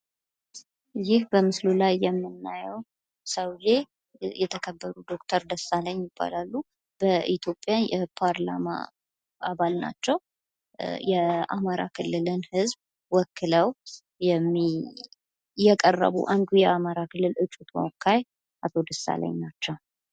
ይህ በምስሉ ላይ የምናየው ሰውየ የተከበሩ ዶክተር ደሳለኝ ይባላሉ። የኢትዮጵያ የፓርላማ አባል ናቸው። የአማራ ክልልን ህዝብ ወክለው የቀረቡ አንዱ የአማራ ክልል እጩ ተወካይ አቶ ደሳለኝ ናቸው።